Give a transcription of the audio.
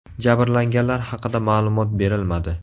Jabrlanganlar haqida ma’lumot berilmadi.